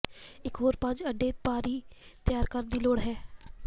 ਇਕ ਹੋਰ ਪੰਜ ਅੰਡੇ ਭਰੀ ਤਿਆਰ ਕਰਨ ਦੀ ਲੋੜ ਹੈ